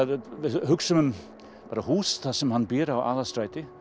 hugsum um húsið sem hann býr í á Aðalstræti